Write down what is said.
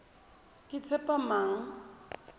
ketshepamang